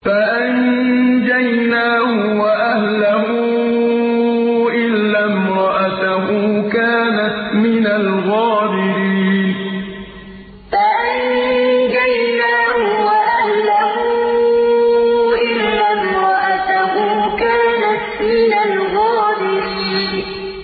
فَأَنجَيْنَاهُ وَأَهْلَهُ إِلَّا امْرَأَتَهُ كَانَتْ مِنَ الْغَابِرِينَ فَأَنجَيْنَاهُ وَأَهْلَهُ إِلَّا امْرَأَتَهُ كَانَتْ مِنَ الْغَابِرِينَ